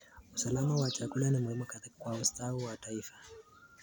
Usalama wa chakula ni muhimu kwa ustawi wa taifa.